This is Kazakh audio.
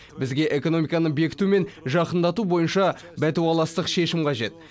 бізге экономиканы бекіту мен жақындату бойынша бәтуаластық шешім қажет